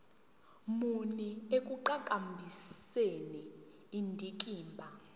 muni ekuqhakambiseni indikimba